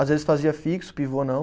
Às vezes fazia fixo, pivô não.